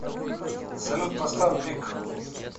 салют поставь биг